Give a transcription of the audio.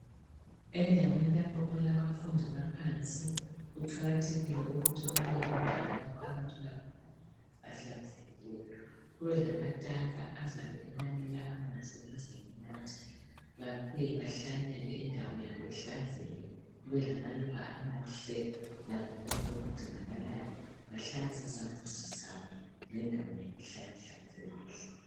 Endaweni lapho okulabafundi baphansi kuqakathekile ukuthi kubelendawo lapho abathola khona amanzi ahlanzekileyo. Kube lamatanka azabe ebanika amanzi ukuze banathe babuye bahlanyele indawo yabo ihlanzeke kube lamaluba amahle lakho konke okudingakalayo, bahlanze izambuzi zabo lendawo yabo ihlale ihlanzekile.